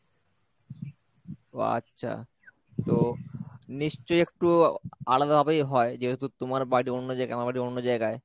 ও আচ্ছা তো নিশ্চয়ই একটু আলাদা ভাবেই হয় যেহেতু তোমার বাড়ি অন্য জায়গায়, আমার বাড়ি অন্য জায়গায়।